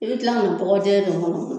I bɛ kila ka na bɔgɔ jɛ don ni kɔnɔ.